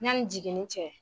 Yani jigini cɛ